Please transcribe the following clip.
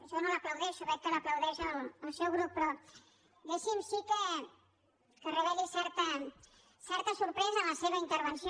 jo no l’aplaudeixo veig que l’aplaudeix el seu grup però deixi’m sí que reveli certa sorpresa en la seva intervenció